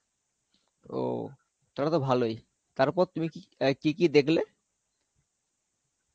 ও, তাহলে তো ভালই. তারপর তুমি কি~ আই~ কি কি দেখলে?